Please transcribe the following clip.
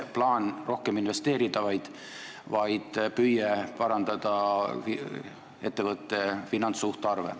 Plaan ei olnud rohkem investeerida, vaid püüe parandada ettevõtte finantssuhtarve.